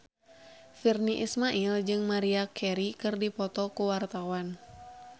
Virnie Ismail jeung Maria Carey keur dipoto ku wartawan